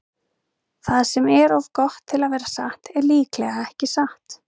Það sem er of gott til að vera satt er líklega ekki satt.